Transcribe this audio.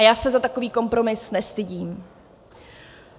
A já se za takový kompromis nestydím.